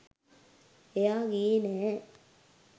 එහා ගියේ නැහැ.